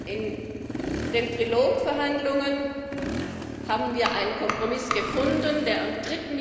In den Trilogverhandlungen haben wir einen Kompromiss gefunden, der am